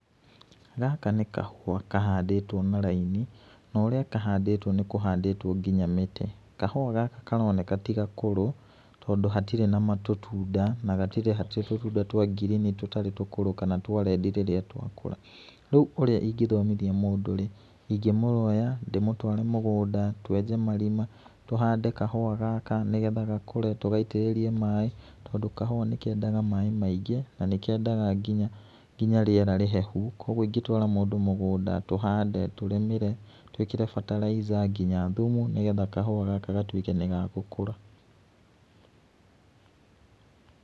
Gaka nĩ kahũa kahandĩtwo na raini na ũria kahandĩtwo nĩ kũhandĩtwo nginya mĩtĩ kahũa gaka karoneka ti gakũrũ tondũ hatirĩ na tũtunda na hatirĩ tũtunda twa ngirini tũtarĩ tũkũrũ kana twa rendi rĩrĩa twakũra ,rĩu ũrĩa ingĩthomithia mũndũ rĩ ingĩmũoya ndĩmũtware mũgũnda twenje marima tũhande kahũa gaka nĩgetha gakũre tũgaitĩrĩrie maĩ tondũ kahũa nĩkendaga maĩ maingĩ na nĩkendaga nginya rĩera rĩhehu kwoguo ingĩtwara mũndũ mũgũnda tũhande tũrĩmĩre tũĩkĩre fertilizer nginya thumu nĩgetha kahũa gaka gatuĩke nĩgagũkũra.